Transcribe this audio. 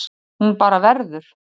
Hún bara verður.